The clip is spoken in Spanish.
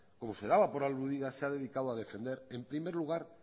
como se daba por aludida se ha dedicado a defender en primer lugar